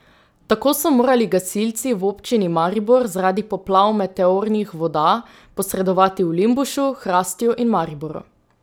Tako so morali gasilci v občini Maribor zaradi poplav meteornih voda posredovati v Limbušu, Hrastju in Mariboru.